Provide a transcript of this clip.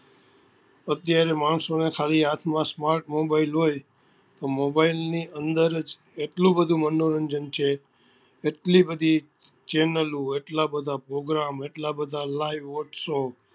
અત્યારે માણસો ને ખાલી હાથ માં smart mobile હોય તો mobile ની અંદર જ એટલું બધું મનોરંજન છે એટલી બધી channel એટલા બધા program એટલા બધા live ઉત્સવ